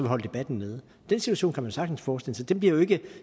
holde debatten nede den situation sagtens forestille sig det bliver jo ikke